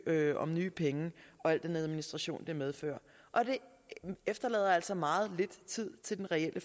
søge om nye penge med al den administration som det medfører det efterlader altså meget lidt tid til den reelle